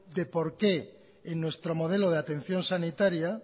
de por qué en nuestro modelo de atención sanitaria